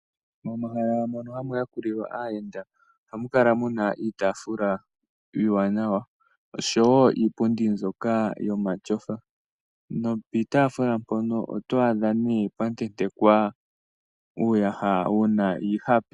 Momahala mono hamu yakulilwa aayenda ohamu kala muna iitafuula iiwanawa oshowo iipundi mbyoka yomatyofa, nopiitafuula mpono oto adha nee pwa tentekwa uuyaha wuna iihape.